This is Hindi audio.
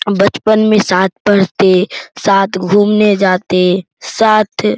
हम बचपन में साथ पढ़ते साथ घूमने जाते साथ --